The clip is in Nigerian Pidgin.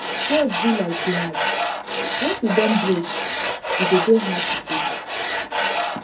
trust be like glass once e don break e de dey hard to fix